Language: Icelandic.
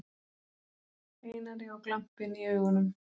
Einari og glampinn í augunum.